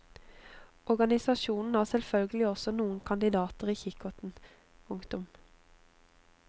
Organisasjonen har selvfølgelig også noen kandidater i kikkerten. punktum